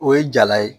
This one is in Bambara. O ye jala ye